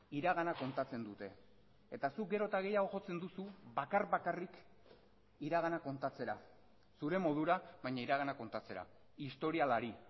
iragana kontatzen dute eta zuk gero eta gehiago jotzen duzu bakar bakarrik iragana kontatzera zure modura baina iragana kontatzera historialari